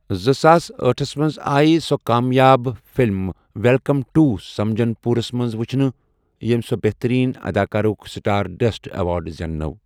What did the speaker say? زٕساس أٹھس منٛز آیہِ سۄ کامیاب فلمہِ ویلکم ٹوٚ سجن پورس منٛز وُچھنہٕ یٔمۍ سۄ بہترین اداکارہ ہُک سٹارڈسٹ ایوارڈ زین نٲو۔